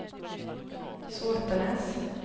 Sotenäs